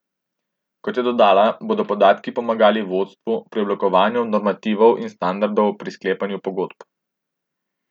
Kot je dodala, bodo podatki pomagali vodstvu pri oblikovanju normativov in standardov pri sklepanju pogodb.